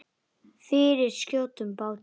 Fyrir skjótum bata.